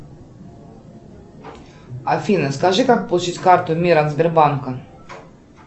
афина скажи как получить карту мир от сбербанка